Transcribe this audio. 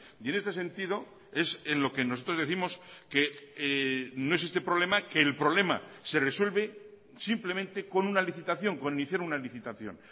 y en este sentido es en lo que nosotros décimos que no existe problema que el problema se resuelve simplemente con una licitación con iniciar una licitación